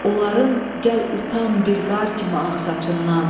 Onların gəl utan bir qar kimi ağ saçından.